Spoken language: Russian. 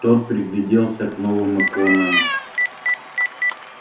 тот пригляделся к новым иконам